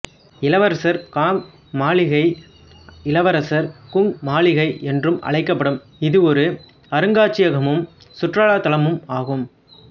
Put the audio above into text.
இளவரசர் காங் மாளிகை இளவரசர் குங் மாளிகை என்றும் அழைக்கப்படும் இது ஒரு அருங்காட்சியகமும் சுற்றுலா தலமுமாகும்